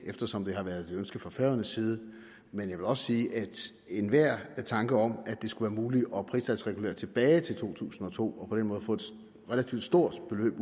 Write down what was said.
eftersom det har været et ønske fra færøernes side men jeg vil også sige at enhver tanke om at det skulle være muligt at pristalsregulere tilbage til to tusind og to og på den måde få et relativt stort beløb